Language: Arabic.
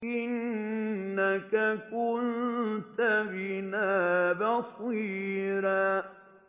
إِنَّكَ كُنتَ بِنَا بَصِيرًا